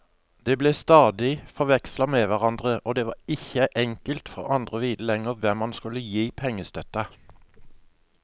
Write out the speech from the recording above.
De ble stadig forvekslet med hverandre, og det var ikke enkelt for andre å vite lenger hvem man skulle gi pengestøtte.